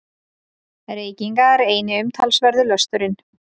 Reykingar eini umtalsverði lösturinn.